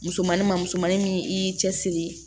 Musomani ma musomannin min i y'i cɛsiri